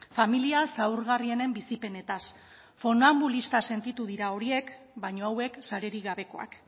familia zaurgarrienen bizipenetaz funanbulista sentitu dira horiek baina hauek sarerik gabekoak